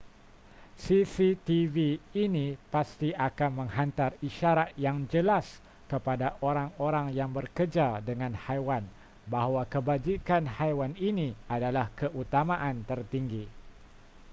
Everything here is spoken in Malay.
cctv ini pasti akan menghantar isyarat yang jelas kepada orang-orang yang bekerja dengan haiwan bahawa kebajikan haiwan ini adalah keutamaan tertinggi